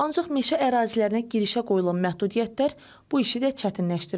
Ancaq meşə ərazilərinə girişə qoyulan məhdudiyyətlər bu işi də çətinləşdirib.